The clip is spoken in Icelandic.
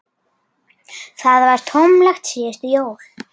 Það var tómlegt síðustu jól.